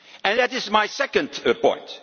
in Europe? That is my second